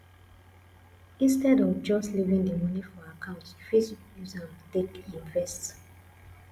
instead of just leaving di money for account you fit use am take invest